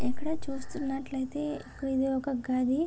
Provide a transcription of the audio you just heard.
ఇక్కడ చూస్తున్నట్లైతే ఇది ఒక గది.